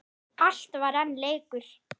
Allt var enn leikur.